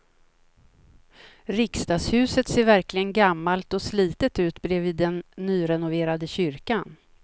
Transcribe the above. Riksdagshuset ser verkligen gammalt och slitet ut bredvid den nyrenoverade kyrkan.